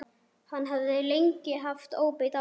Hann hafði lengi haft óbeit á henni.